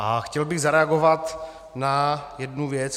A chtěl bych zareagovat na jednu věc.